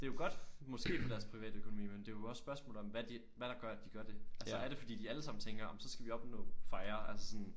Det jo godt måske for deres privatøkonomi men det jo også spørgsmålet om hvad de hvad der gør at de gør det. Altså er det fordi de alle sammen tænker ej men så skal vi opnå FIRE altså sådan